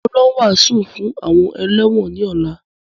Mo ń lọ wàásù fún àwọn ẹlẹ́wọ̀n ni ọ̀la